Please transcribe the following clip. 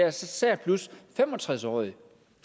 især 65 årige